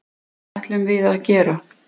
Það ætlum við að gera